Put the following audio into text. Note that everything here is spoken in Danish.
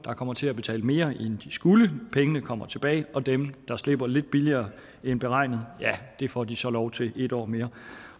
kommer til at betale mere end de skulle pengene kommer tilbage og dem der slipper lidt billigere end beregnet ja det får de så lov til en år mere